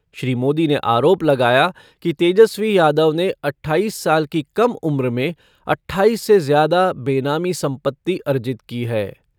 श्री मोदी ने आरोप लगाया कि तेजस्वी यादव ने अट्ठाईस साल की कम उम्र में अट्ठाईस से ज्यादा बेनामी संपत्ति अर्जित की है।